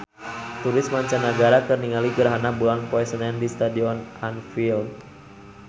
Turis mancanagara keur ningali gerhana bulan poe Senen di Stadion Anfield